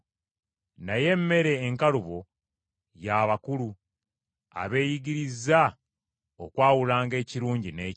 Naye emmere enkalubo ya bakulu, abeeyigirizza okwawulanga ekirungi n’ekibi.